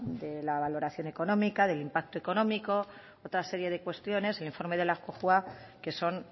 de la valoración económica del impacto económico otra serie de cuestiones el informe de la cojua que son